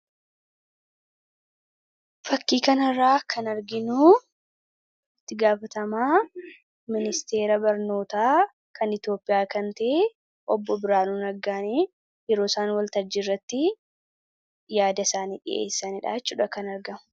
Fakkii kanarraa kan arginu itti gaafatamaa Ministeera Barnootaa kan Itoophiyaa kan ta'e, Obbo Biraanuu Naggaani yeroo isaan waltajjii irratti yaada isaanii dhiyeessanidha jechuudha kan argamu.